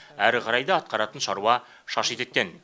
әрі қарай да атқаратын шаруа шаш етектен